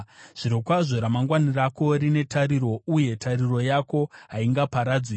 Zvirokwazvo ramangwana rako rine tariro, uye tariro yako haingaparadzwi.